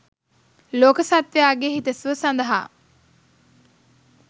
ලෝක සත්ත්වයාගේ හිතසුව සඳහා